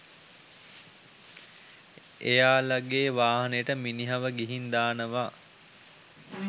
එයාලගේ වාහනේට මිනිහව ගිහින් දානව.